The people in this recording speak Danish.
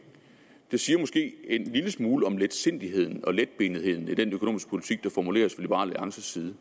siger måske en lille smule om letsindigheden og letbenetheden i den økonomiske politik der formuleres fra liberal alliances side